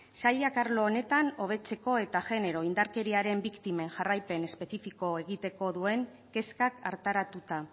sailak arlo honetan hobetzeko eta jenero indarkeriaren biktimen jarraipen espezifiko egiteko duen kezkak hartaratuta